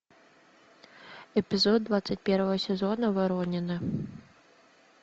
эпизод двадцать первого сезона воронины